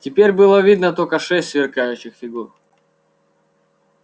теперь было видно только шесть сверкающих фигур